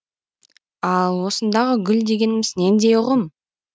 ал осындағы гүл дегеніміз нендей ұғым